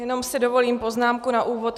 Jenom si dovolím poznámku na úvod.